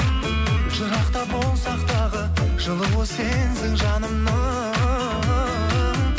жырақта болсақ тағы жылуы сенсің жанымның